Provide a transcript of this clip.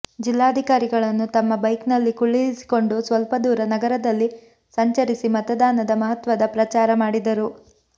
ಜಿಲ್ಲಾಧಿಕಾರಿಗಳನ್ನು ತಮ್ಮ ಬೈಕ್ನಲ್ಲಿ ಕುಳ್ಳಿರಿಸಿಕೊಂಡು ಸ್ವಲ್ಪ ದೂರ ನಗರದಲ್ಲಿ ಸಂಚರಿಸಿ ಮತದಾನದ ಮಹತ್ವದ ಪ್ರಚಾರ ಮಾಡಿದರು